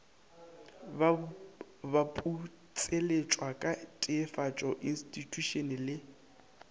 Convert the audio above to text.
baputseletšwa ka teefatšo instithušene le